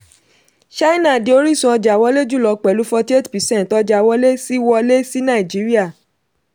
china di orísun ọjà wọlé jùlọ pẹ̀lú forty-eight percent ọjà wọlé sí wọlé sí nàìjíríà.